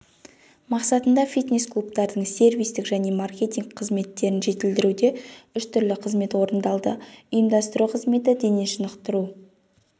мақсатында фитнес-клубтардың сервистік және маркетинг қызметтерін жетілдіруде үш түрлі қызмет орындалды ұйымдастыру қызметі дене шынықтыру